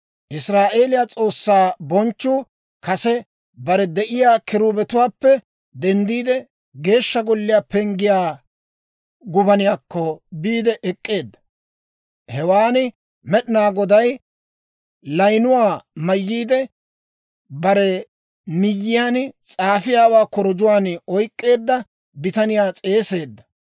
Israa'eeliyaa S'oossaa bonchchuu kase bare de'iyaa kiruubetuwaappe denddiide, Geeshsha Golliyaa penggiyaa gubaniyaakko biide ek'k'eedda. Hewan Med'inaa Goday layinuwaa mayyiide, bare miyyiyaan s'aafiyaawaa korujjuwaan oyk'k'eedda bitaniyaa s'eeseedda.